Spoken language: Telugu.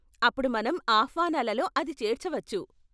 అప్పుడు మనం ఆహ్వానాలలో అది చేర్చవచ్చు.